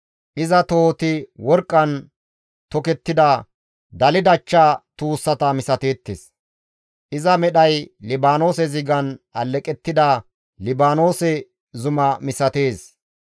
Iza tohoti worqqan tokettida, daldachcha tuussata misateettes; iza medhay Libaanoose zigan alleqettida Libaanoose zuma misatees.